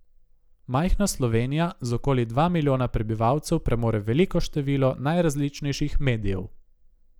Majhna Slovenija z okoli dva milijona prebivalcev premore veliko število najrazličnejših medijev.